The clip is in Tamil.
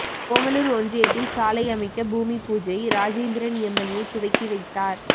ஓமலூர் ஒன்றியத்தில் சாலை அமைக்க பூமிபூஜை ராஜேந்திரன் எம்எல்ஏ துவக்கி வைத்தார்